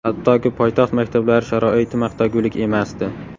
Hattoki poytaxt maktablari sharoiti maqtagulik emasdi.